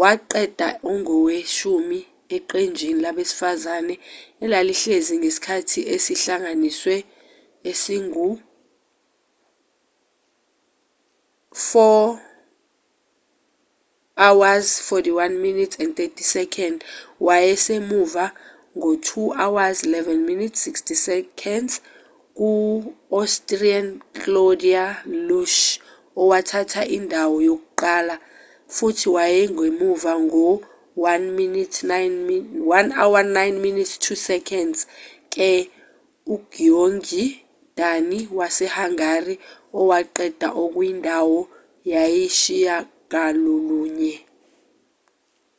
waqeda engoweshumi eqenjini labesifazane elalihlezi nesikhathi esihlanganisiwe esingu-4:41.30 wayesemuva ngo-2:11.60 kuu-austrian claudia loesch owathatha indawo yokuqala futhi wayesemuva ngo- 1:09.02 k-ugyöngyi dani wase-hungary owaqeda ekwindawo yesishiyagalolunye